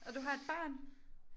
Og du har et barn